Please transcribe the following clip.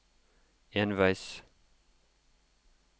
enveis